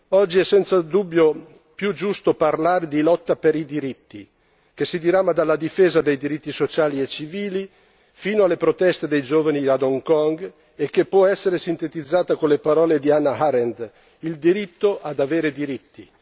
Oggi è senza dubbio più giusto parlare di lotta per i diritti, che si dirama dalla difesa dei diritti sociali e civili, fino alle proteste dei giovani ad Hong Kong e che può essere sintetizzata con le parole di Hannah Arendt, il diritto ad avere diritti.